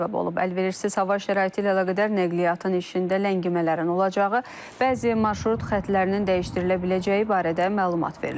Əlverişsiz hava şəraiti ilə əlaqədar nəqliyyatın işində ləngimələrin olacağı, bəzi marşrut xəttlərinin dəyişdirilə biləcəyi barədə məlumat verilib.